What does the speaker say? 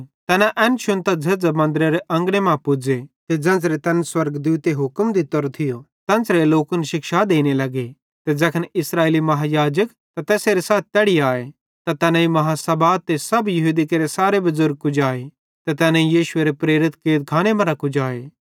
तैना एन शुन्तां झ़ेझ़ां मन्दरेरे अंगने मां पुज़े ते ज़ेन्च़रे तैन स्वर्गदूते हुक्म दित्तोरो थियो तेन्च़रे लोकन शिक्षा देने लगे ते ज़ैखन इस्राएली महायाजक ते तैसेरे साथी तैड़ी आए त तैनेईं आदालत ते सब यहूदी केरे सारे बुज़ुर्ग कुजाए ते तैनेईं यीशुएरे प्रेरित कैदखाने मरां कुजाए